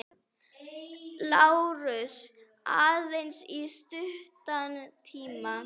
LÁRUS: Aðeins í stuttan tíma.